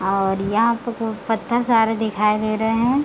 और यहां पे पत्‍ता सारे दिखाई दे रहे है।